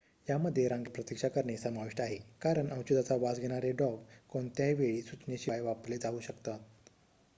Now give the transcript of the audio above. यामध्ये रांगेत प्रतीक्षा करणे समाविष्ट आहे कारण औषधाचा वास घेणारे डॉग कोणत्याही वेळी सूचनेशिवाय वापरले जाऊ शकतात